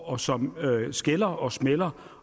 og som skælder og smælder